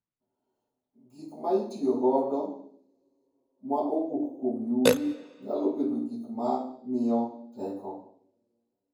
Gik ma itiyogo ma owuok kuom yugi nyalo bedo gik mamiyo teko.